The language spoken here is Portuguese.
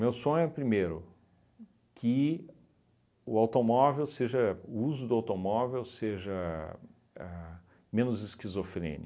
sonho é, primeiro, que o automóvel seja o uso do automóvel seja ahnn menos